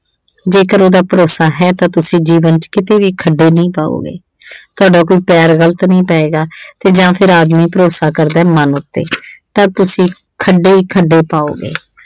ਜੇਕਰ ਉਹਦਾ ਭਰੋਸਾ ਹੈ ਤਾਂ ਤੁਸੀਂ ਜੀਵਨ ਵਿੱਚ ਕਦੇ ਵੀ ਠੇਡੇ ਨਈਂ ਖਾਓਗੇ। ਤੁਹਾਡਾ ਕੋਈ ਪੈਰ ਗਲਤ ਨਹੀਂ ਪਏਗਾ ਤੇ ਜਾਂ ਫੇਰ ਆਦਮੀ ਭਰੋਸਾ ਕਰਦਾ ਮਨ ਉੱਤੇ ਤਾਂ ਤੁਸੀਂ ਖੱਡੇ ਖੱਡੇ ਪਾਓਗੇ।